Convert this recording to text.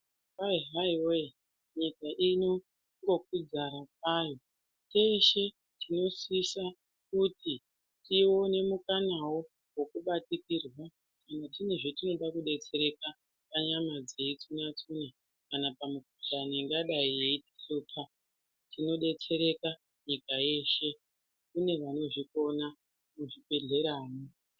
Kwai haiwee nyika inongokwidza kwayo teshe tinosisa kuti tiwone mukanawo wekubatikirwa kana tine zvatinoda kudetsereka panyama dzedu kana pamukuhlani ingadai yeitishupa tinodetsereka nyika yeshe kune vanozvikona muzvibhedhleramwo.